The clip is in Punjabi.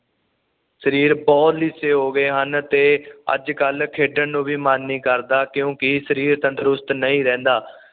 ਸਰੀਰ ਬੁਹਤ ਲਿਸੇ ਹੋ ਗਏ ਹਨ ਤੇ ਅੱਜ ਕੱਲ ਖੇਡਣ ਨੂੰ ਵੀ ਮਨ ਨਹੀਂ ਕਰਦਾ ਕਿਉਂਕਿ ਸਰੀਰ ਤੰਦਰੁਸਤ ਨਹੀਂ ਰਹਿੰਦਾ